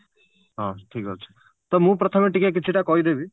ହଁ ଠିକ ଅଛି ତ ମୁଁ ପ୍ରଥମେ ଟିକେ କିଛିଟା କହିଦେବି